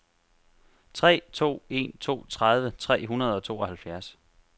tre to en to tredive tre hundrede og tooghalvfjerds